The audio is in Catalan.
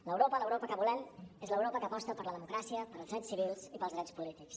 l’europa l’europa que volem és l’europa que aposta per la democràcia pels drets civils i pels drets polítics